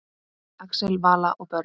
Axel, Vala og börn.